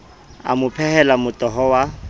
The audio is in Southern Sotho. a mo phehela motoho wa